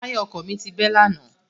Táyà ọkọ̀ mi bẹ́ lánàá.